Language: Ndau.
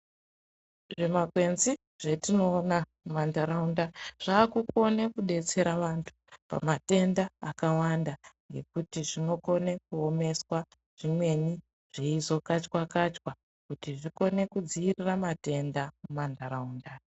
Zvimakwenzi zvetinoona mumantaraunda zvaakukone kudetsera vantu pamatenda akawanda ngekuti zvinokone kuomeswa zvimweni zveizokachwa-kachwa kuti zvikone kudzirira matenda muntaraunda.